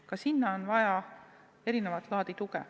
Ka sinna on vaja erilist laadi tuge.